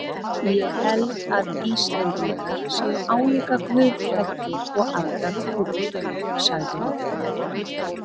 Ég held að Íslendingar séu álíka guðhræddir og aðrar þjóðir, sagði Otti.